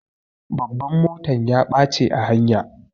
Babban motan ya ɓache a hanya.